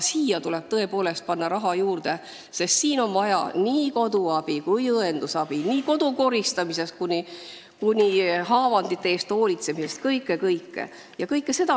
Siia tuleb tõepoolest panna raha juurde, sest on vaja nii koduabi kui ka õendusabi, nii kodu koristamist kui ka haavade eest hoolitsemist, kõike ja kõike.